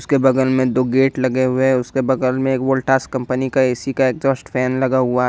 उसके बगल में दो गेट लगे हुए हैं उसके बगल में एक वोल्टास कंपनी का ऐ_सी का एग्जास्ट फैन लगा हुआ है।